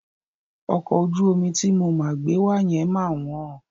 Ọkọ̀ ojú omi ti mo máa gbé wa yẹn ma wọ́n.